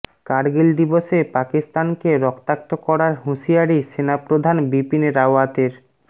কার্গিল দিবসে পাকিস্তানকে রক্তাক্ত করার হুঁশিয়ারি সেনাপ্রধান বিপিন রাওয়াতের